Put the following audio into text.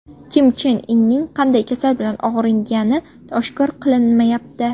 Kim Chen Inning qanday kasal bilan og‘rigani oshkor qilinmayapti.